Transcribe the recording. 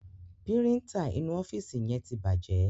Píríńtà inú ọ́fíìsì yẹn ti bàjẹ́.